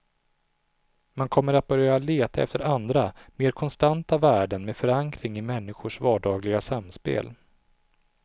Man kommer att börja leta efter andra, mer konstanta värden med förankring i människors vardagliga samspel.